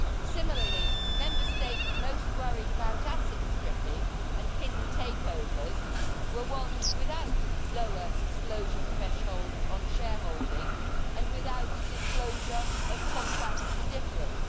Similarly, the Member States most worried about asset stripping and hidden takeovers were ones without lower disclosure thresholds on shareholding and without disclosure of contracts for difference.